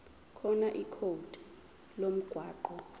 khona ikhodi lomgwaqo